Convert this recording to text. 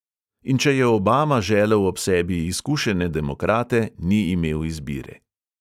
In če je obama želel ob sebi izkušene demokrate, ni imel izbire.